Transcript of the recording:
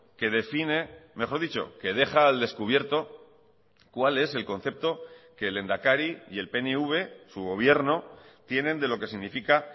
que define mejor dicho que deja al descubierto cuál es el concepto que el lehendakari y el pnv su gobierno tienen de lo que significa